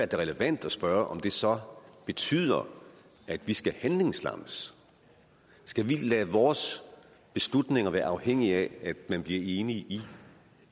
da relevant at spørge om det så betyder at vi skal handlingslammes skal vi lade vores beslutninger være afhængige af at man bliver enig